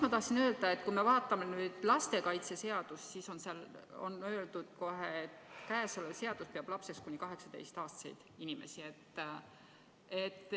Ma tahan öelda, et kui me vaatame lastekaitseseadust, siis seal on kohe kirjas: käesolev seadus peab lapseks kuni 18-aastaseid inimesi.